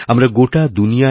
আমরা গোটা দুনিয়ায়